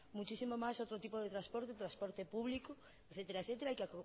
muchísimo más otro tipo de transporte transporte público etcétera etcétera hay que